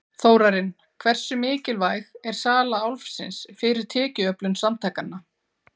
Þórarinn, hversu mikilvæg er sala Álfsins fyrir tekjuöflun samtakanna?